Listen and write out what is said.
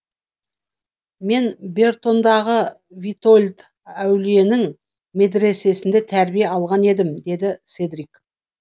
мен бертондағы витольд әулиенің медресесінде тәрбие алған едім деді седрик